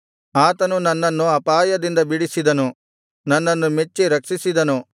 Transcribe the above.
ಆತನು ನನ್ನನ್ನು ಅಪಾಯದಿಂದ ಬಿಡಿಸಿದನು ನನ್ನನ್ನು ಮೆಚ್ಚಿ ರಕ್ಷಿಸಿದನು